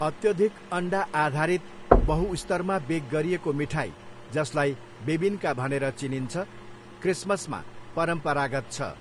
अत्यधिक अन्डा आधारित, बहुस्तरमा बेक गरिएको मिठाई, जसलाई बेबिन्का भनेर चिनिन्छ, क्रिसमसमा परम्परागत छ।